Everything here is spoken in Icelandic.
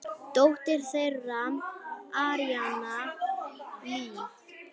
Dóttir þeirra: Aríanna Líf.